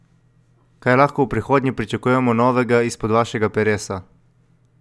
Kaj lahko v prihodnje pričakujemo novega izpod vašega peresa?